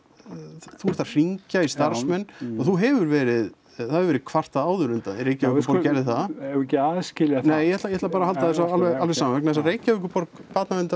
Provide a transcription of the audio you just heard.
þú ert að hringja í starfsmenn og þú hefur verið það hefur verið kvartað áður undan þér Reykjavíkurborg gerði það ekki að aðskilja það nei ég ætla ég ætla bara að halda þessu alveg alveg sama vegna þess að Reykjavíkurborg barnavernd